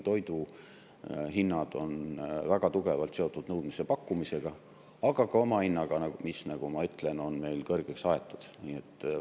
Toidu hinnad on väga tugevalt seotud nõudmise ja pakkumisega, aga ka omahinnaga, mis, nagu ma ütlesin, on meil kõrgeks aetud.